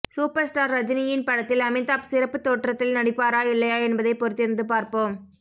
super star ரஜினியின் படத்தில் அமிதாப் சிறப்பு தோற்றத்தில் நடிப்பாரா இல்லையா என்பதை பொறுத்திருந்து பார்ப்போம்